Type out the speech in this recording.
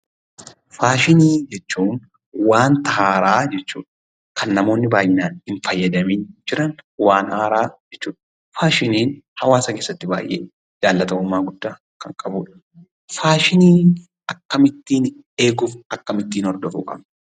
Faashiinii jechuun wanta haaraa jechuu dha. Kan namoonni baay'inaan hin fayyadamin jiran waan haaraa jechuu dha. Faashiniin hawaasa keessatti baay'ee jaallatamummaa guddaa kan qabu dha. Faashiniin akkamittiin eeguuf akkamittiin hordofuu qabna?